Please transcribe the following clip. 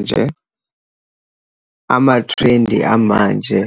Nje, ama-trend-i amanje